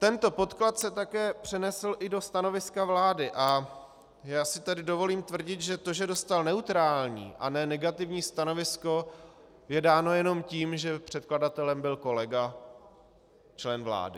Tento podklad se také přenesl i do stanoviska vlády a já si tady dovolím tvrdit, že to, že dostal neutrální a ne negativní stanovisko, je dáno jenom tím, že předkladatelem byl kolega, člen vlády.